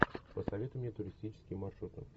посоветуй мне туристические маршруты